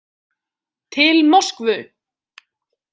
Til Moskvu